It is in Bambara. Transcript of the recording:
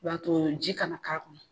U b'a to ji kana k'a kɔnɔ